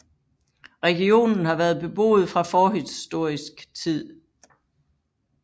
Regionen har været beboet fra forhistorisk tid